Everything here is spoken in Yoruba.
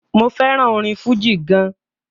mo fẹràn orin fújì gan.